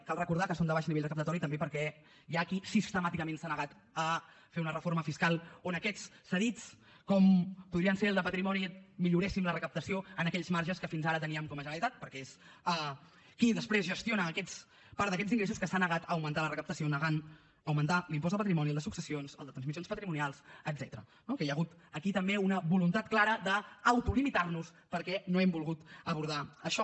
cal recordar que són de baix nivell recaptatori també perquè hi ha qui sistemàticament s’ha negat a fer una reforma fiscal on aquests cedits com podrien ser el de patrimoni milloréssim la recaptació en aquells marges que fins ara teníem com a generalitat perquè és qui després gestiona part d’aquests ingressos que s’ha negat a augmentar la recaptació negant augmentar l’impost de patrimoni el de successions el de transmissions patrimonials etcètera no que hi ha hagut aquí també una voluntat clara d’autolimitar nos perquè no hem volgut abordar això